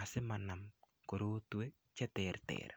asimanam korotwek che ter ter.